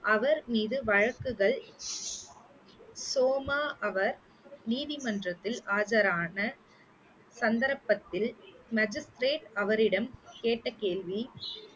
அவர் மீது வழக்குகள் சோமா அவர் நீதிமன்றத்தில் ஆஜரான சந்தர்ப்பத்தில் magistrate அவரிடம் கேட்ட கேள்வி